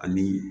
Ani